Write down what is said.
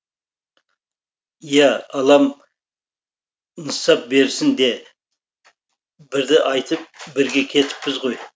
иә алам нысап берсін де бірді айтып бірге кетіппіз ғой